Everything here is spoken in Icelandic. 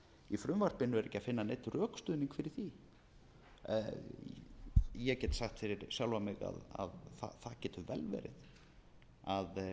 í frumvarpinu er ekki að finna neinn rökstuðning fyrir því ég get sagt fyrir sjálfan mig að það getur vel verið að